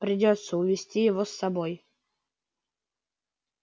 придётся увести его с собой